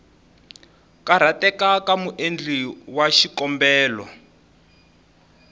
karhateka ka muendli wa xikombelo